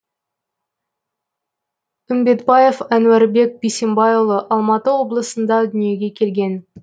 үмбетбаев әнуарбек бисембайұлы алматы облысында дүниеге келген